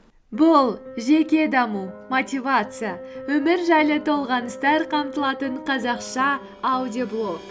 бұл жеке даму мотивация өмір жайлы толғаныстар қамтылатын қазақша аудиоблог